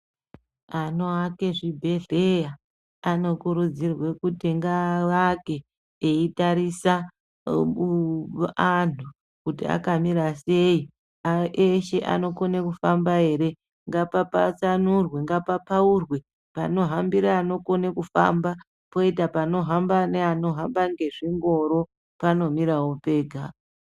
Anoake zvibhehleya anokurudzirwe kuti ngaavake eitarisa anhu kuti akamira sei ,eshe anokone kufamba ere ngapapatsanurwe, ngapapaurwe panohambire anokone kufamba poita panohamba neanohamba ngezvingoro panomirawo pega.